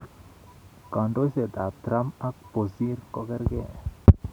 Kandoisietab Trump ak Bosir ko kerkei?